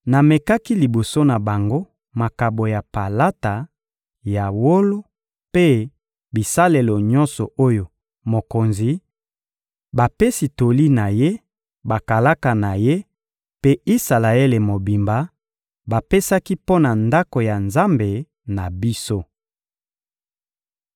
Namekaki liboso na bango makabo ya palata, ya wolo mpe bisalelo nyonso oyo mokonzi, bapesi toli na ye, bakalaka na ye mpe Isalaele mobimba bapesaki mpo na Ndako ya Nzambe na biso.